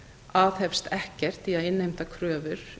aðhefst ekkert í að innheimta kröfur